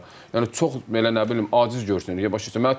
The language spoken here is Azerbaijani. Yəni çox belə nə bilim aciz görünür, başa düşürsən?